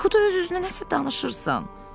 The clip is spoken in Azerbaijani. Yuxuda öz-özünə nəsə danışırsan.